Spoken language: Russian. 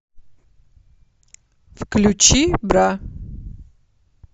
включи бра